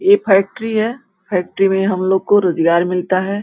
ये फैक्ट्री है फैक्ट्री में हमलोग को रोजगार मिलता है।